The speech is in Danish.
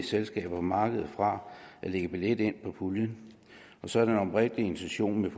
selskaber og markeder fra at lægge billet ind på puljen og så er den oprindelige intention med